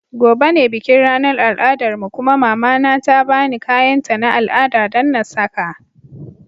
Gobe ​​ne bikin ranar al'adarmu kuma mama na ta ba ni kayanta na al'ada don na saka.